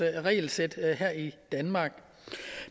regelsæt her i danmark